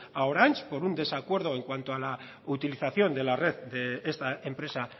a orange por un desacuerdo en cuanto a la utilización de la red de esta empresa